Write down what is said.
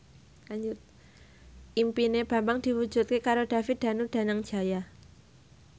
impine Bambang diwujudke karo David Danu Danangjaya